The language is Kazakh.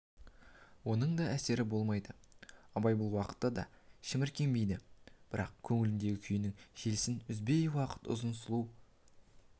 оның да әсері болмайды абай бұл уақытта да шіміркенбейді бірақ көңіліндегі күйінің желісін үзбейді ұзақ сұлу